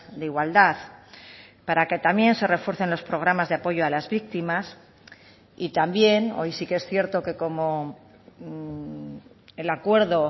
de igualdad para que también se refuercen los programas de apoyo a las víctimas y también hoy sí que es cierto que como el acuerdo